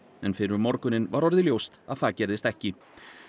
en fyrr um morguninn var orðið ljóst að það gerðist ekki